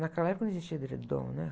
Naquela época não existia edredom, né?